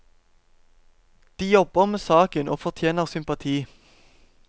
De jobber med saken og fortjener sympati.